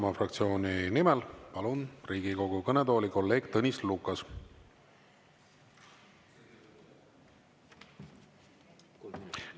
Palun Riigikogu kõnetooli Isamaa fraktsiooni nimel kõnelema kolleeg Tõnis Lukase.